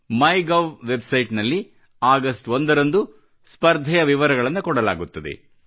MyGov website ನಲ್ಲಿ August ಒಂದರಂದು ಸ್ಪರ್ಧೆಯ ವಿವರಗಳನ್ನು ಕೊಡಲಾಗುತ್ತದೆ